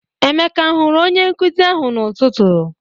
Emeka a hụrụ onye nkuzi ahụ n'ụtụtụ?